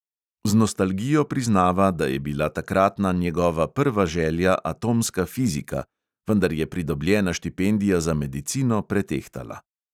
Z nostalgijo priznava, da je bila takratna njegova prva želja atomska fizika, vendar je pridobljena štipendija za medicino pretehtala.